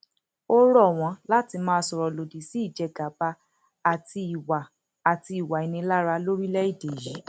ó rọ wọn láti máa sọrọ lòdì sí ìjẹgàba àti ìwà àti ìwà ìnilára lórílẹèdè yìí